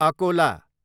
Akola